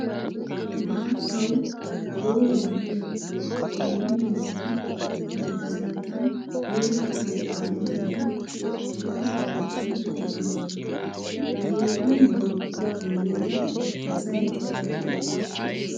Maattawu gooba gidiya Keene miizzati bantta sinttan yegetta kattaa miiddi guuraa xalqqiyan eqqidosona. Ha heezzu mehetuppe guyyeera asay coratti uttiis.